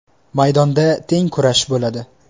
Maydonda teng kurash bo‘ladi.